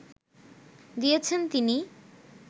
দিয়েছেন তিনি